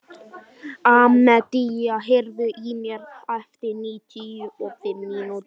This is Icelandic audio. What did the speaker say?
Amadea, heyrðu í mér eftir níutíu og fimm mínútur.